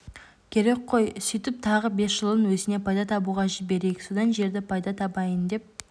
керек қой сөйтіп тағы бес жылын өзіне пайда табуға жіберейік сонда жерді пайда табайын деп